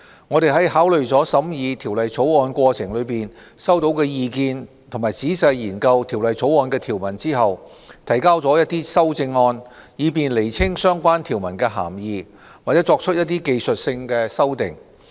我們在考慮了審議《條例草案》過程中收到的意見及仔細研究《條例草案》的條文後，提交了一些修正案，以便釐清相關條文的涵義，或作出一些技術性修訂。